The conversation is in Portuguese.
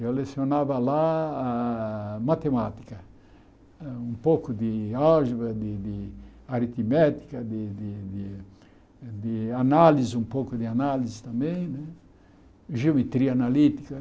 Eu lecionava lá ah matemática, um pouco de álgebra, de de aritmética, de de de análise, um pouco de análise também né, geometria analítica.